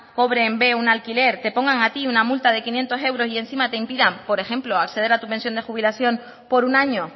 cobre en b un alquiler te pongan a ti una multa de quinientos euros y encima te impidan por ejemplo acceder a tu pensión de jubilación por un año